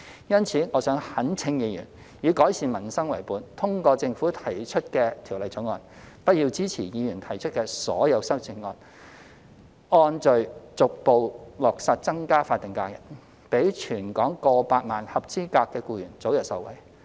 因此，我懇請議員以改善民生為本，通過政府提出的《條例草案》，不要支持議員提出的所有修正案，按序逐步落實增加法定假日，讓全港過百萬的合資格僱員早日受惠。